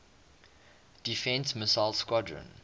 defense missile squadron